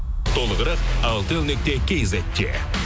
толығырақ алтел нүкте кизетте